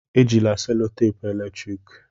Ejila selotape eletrik!